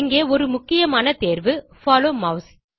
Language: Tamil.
இங்கே ஒரு முக்கியமான தேர்வு போலோ மாஸ்